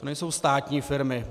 To nejsou státní firmy.